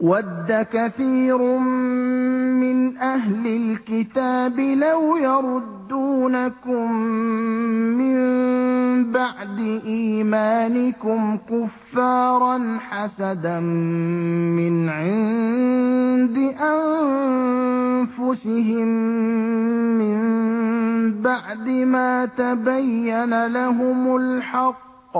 وَدَّ كَثِيرٌ مِّنْ أَهْلِ الْكِتَابِ لَوْ يَرُدُّونَكُم مِّن بَعْدِ إِيمَانِكُمْ كُفَّارًا حَسَدًا مِّنْ عِندِ أَنفُسِهِم مِّن بَعْدِ مَا تَبَيَّنَ لَهُمُ الْحَقُّ ۖ